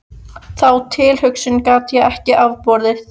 Þá tilhugsun gat ég ekki afborið.